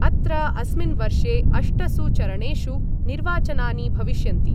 अत्र अस्मिन् वर्षे अष्टसु चरणेषु निर्वाचनानि भविष्यन्ति।